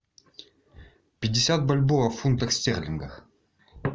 пятьдесят бальбоа в фунтах стерлингов